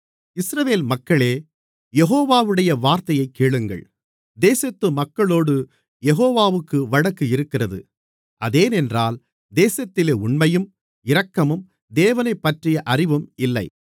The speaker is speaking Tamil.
இஸ்ரவேல் மக்களே யெகோவாவுடைய வார்த்தையைக் கேளுங்கள் தேசத்து மக்களோடு யெகோவாவுக்கு வழக்கு இருக்கிறது அதேனென்றால் தேசத்திலே உண்மையும் இரக்கமும் தேவனைப்பற்றிய அறிவும் இல்லை